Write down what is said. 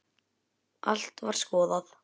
Allt var skoðað.